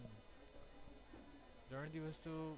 ત્રણ દિવસ તો